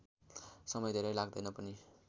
समय धेरै लाग्दैन पनि